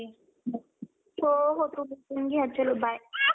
अजून सांगतो रामचरण आवडतो.